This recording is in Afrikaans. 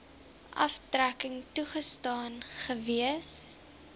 aftrekking toegestaan gewees